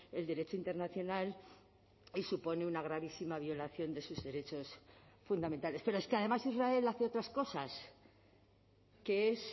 el derecho internacional y supone una gravísima violación de sus derechos fundamentales pero es que además israel hace otras cosas que es